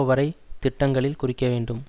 வரை திட்டங்களில் குறிக்கவேண்டும்